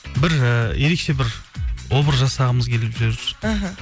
бір і ерекше бір образ жасағымыз келіп жүр іхі